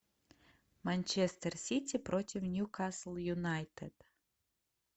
манчестер сити против ньюкасл юнайтед